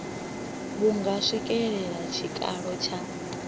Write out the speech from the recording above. vhu nga swikelela tshikalo tsha